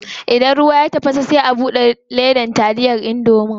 Idan ruwan ya tafasa sai a bude ledar taliya indomie.